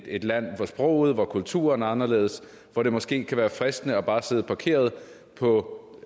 et land hvor sproget hvor kulturen er anderledes hvor det måske kan være fristende bare at sidde parkeret på